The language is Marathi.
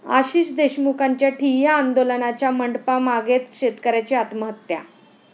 आशिष देशमुखांच्या ठिय्या आंदोलनाच्या मंडपामागेच शेतकऱ्याची आत्महत्या